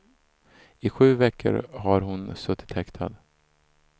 I sju veckor har hon suttit häktad.